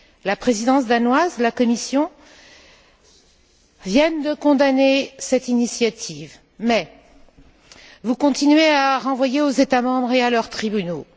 La présidence danoise et la Commission viennent de condamner cette initiative, mais vous continuez à renvoyer aux États membres et à leurs tribunaux.